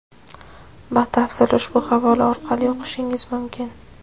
Batafsil ushbu havola orqali o‘qishingiz mumkin.